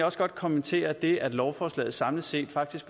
også godt kommentere det at lovforslaget samlet set faktisk